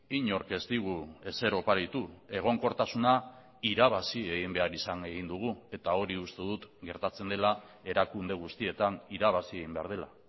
inork ez digu ezer oparitu egonkortasuna irabazi egin behar izan egin dugu eta hori uste dut gertatzen dela erakunde guztietan irabazi egin behar dela